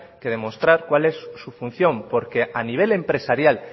que demostrar cuál es su función porque a nivel empresarial